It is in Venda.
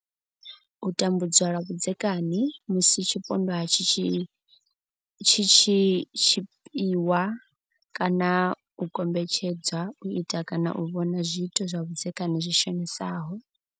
U tambudzwa lwa vhudzekani, musi tshipondwa tshi tshi tshipiwa kana u kombetshedzwa u ita kana u vhona zwiito zwa vhudzekani zwi shonisaho.